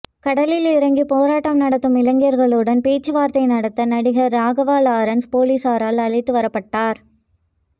கடலில் இறங்கி போராட்டம் நடத்தும் இளைஞர்களுடன் பேச்சுவார்த்தை நடத்த நடிகர் ராகவா லாரன்ஸ் போலீசாரால் அழைத்து வரப்பட்டார்